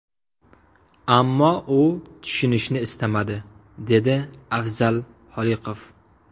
Ammo u tushunishni istamadi”, deydi Afzal Xoliqov.